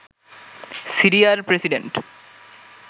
সিরিয়ার প্রেসিডেন্ট